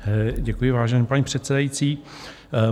Děkuji, vážená paní předsedající.